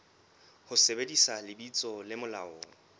ho sebedisa lebitso le molaong